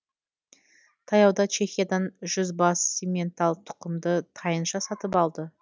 таяуда чехиядан жүз бас симментал тұқымды тайынша сатып алды